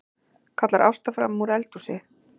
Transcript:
kallar Ásta framanúr eldhúsi.